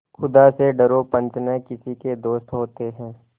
खुदा से डरो पंच न किसी के दोस्त होते हैं